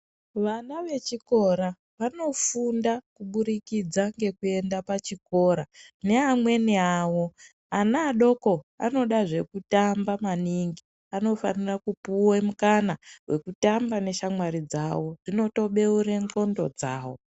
Vana vechikora vanofunda kuburikidza ngekuenda pachikora neamweni awo ana adoko anoda zvekutamba maningi anofanira kupuwe mukana wekutamba neshamwari dzawo zvinotobeure ndxondo dzawo.